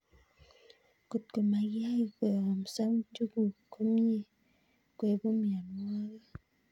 Kotko makiyai koyomso njuguk komie koibu mionwogik